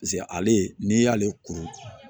ale n'i y'ale kuru